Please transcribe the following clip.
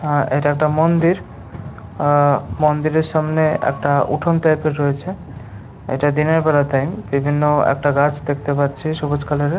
আ এটা একটা মন্দির উহঃ মন্দিরের সামনে একটা উঠোন টাইপ -এর রয়েছে। ইটা দিনের বেলার টাইম বিভিন্ন একটা গাছ দেখতে পাচ্ছি সবুজ কালার -এর ।